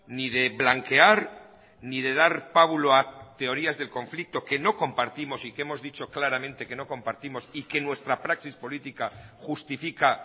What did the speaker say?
ni de blanquear ni de dar pábulo a teorías del conflicto que no compartimos y que hemos dicho claramente que no compartimos y que nuestra praxis política justifica